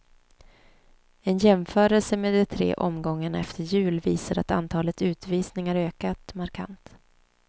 En jämförelse med de tre omgångarna efter jul visar att antalet utvisningar ökat markant.